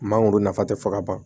Mangoro nafa tɛ fɔ ka ban